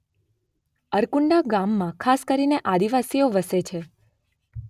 અરકુંડા ગામમાં ખાસ કરીને આદિવાસીઓ વસે છે.